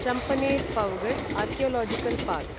Champaner Pavagadh archaeological park